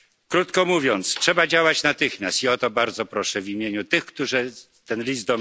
Krótko mówiąc trzeba działać natychmiast i o to bardzo proszę w imieniu tych, którzy ten list